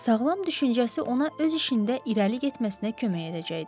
sağlam düşüncəsi ona öz işində irəli getməsinə kömək edəcəkdi.